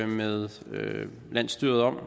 med landsstyrerne